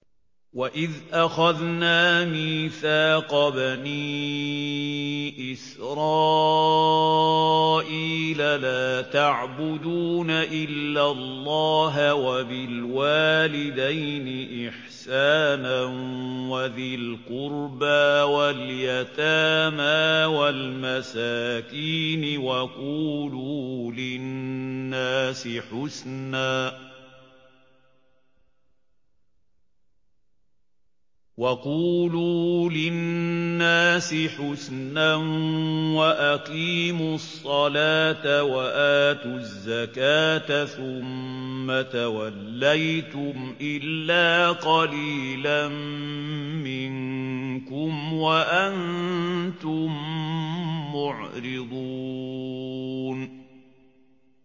وَإِذْ أَخَذْنَا مِيثَاقَ بَنِي إِسْرَائِيلَ لَا تَعْبُدُونَ إِلَّا اللَّهَ وَبِالْوَالِدَيْنِ إِحْسَانًا وَذِي الْقُرْبَىٰ وَالْيَتَامَىٰ وَالْمَسَاكِينِ وَقُولُوا لِلنَّاسِ حُسْنًا وَأَقِيمُوا الصَّلَاةَ وَآتُوا الزَّكَاةَ ثُمَّ تَوَلَّيْتُمْ إِلَّا قَلِيلًا مِّنكُمْ وَأَنتُم مُّعْرِضُونَ